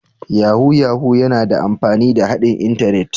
Yahoo Yahoo yana amfani da haɗin Intanet